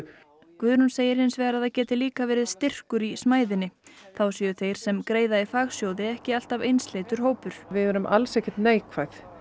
Guðrún segir hins vegar að það geti líka verið styrkur í smæðinni þá séu þeir sem greiða í fagsjóði ekki alltaf einsleitur hópur við erum alls ekki neikvæð